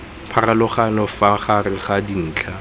pharologanyo fa gare ga dintlha